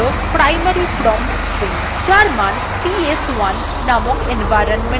এটি হল primary prompt string যার মান ps1 নামক environment variableএ থাকে